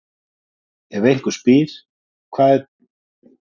Ef einhver spyr: Hvað er dæmi um staðreynd?